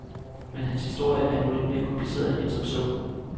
Men hans historie er nu lidt mere kompliceret end som så.